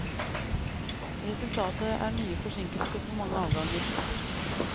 Resultatet er nye forsinkelser for mange avganger.